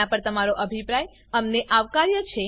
આનાં પર તમારો અભિપ્રાય અમને આવકાર્ય છે